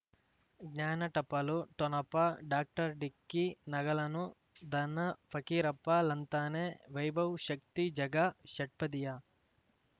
ಜ್ಞಾನ ಟಪಾಲು ಠೊಣಪ ಡಾಕ್ಟರ್ ಢಿಕ್ಕಿ ಣಗಳನು ಧನ ಫಕೀರಪ್ಪ ಳಂತಾನೆ ವೈಭವ್ ಶಕ್ತಿ ಝಗಾ ಷಟ್ಪದಿಯ